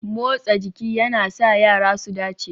Motsa jiki yana sa yara su dace